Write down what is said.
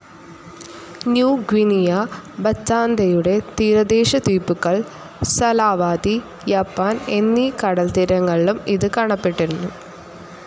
New Guinea, ബറ്റാന്തയുടെ തീരദേശ ദ്വീപുകൾ, സലാവാതി, യാപ്പൻ എന്നീ കടൽത്തീരങ്ങളിലും ഇത് കാണപ്പെടുന്നു.